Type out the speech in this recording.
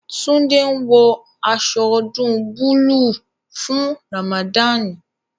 Tunde ń wọ aṣọ ọdún búlúù fún Ramadani